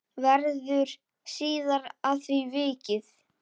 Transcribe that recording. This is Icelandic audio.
Verður síðar að því vikið.